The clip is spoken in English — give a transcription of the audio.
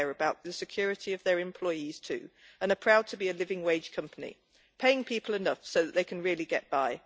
It cares about the security of its employees too and is proud to be a living wage company, paying people enough so that they can really get by.